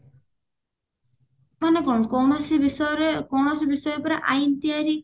ମାନେ କଣ କୌଣସି ବିଷୟରେ କୌଣସି ବିଷୟ ଉପରେ ଆଇନ ତିଆରି